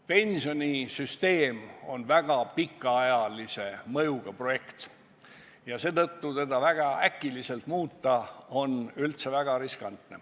Pensionisüsteem on väga pikaajalise mõjuga nn projekt ja seetõttu seda väga äkiliselt muuta on üldse väga riskantne.